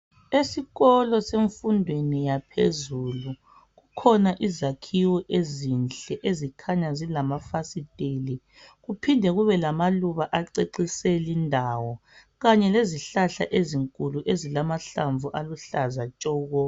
Esikolo semfundweni yaphezulu kukhona izakhiwo ezinhle ezikhanya zilamafasiteli kuphinde kube lamaluba acecise lindawo kanye lezihlahla ezinkulu ezilamahlamvu aluhlaza tshoko